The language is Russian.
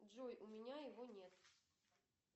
джой у меня его нет